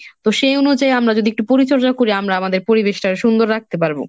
তো সেই অনুযায়ী আমরা যদি একটু পরিচর্যা করি আমরা আমাদের পরিবেশটা সুন্দর রাখতে পারবো।